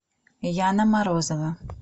яна морозова